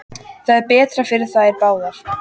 Það er betra fyrir þær báðar.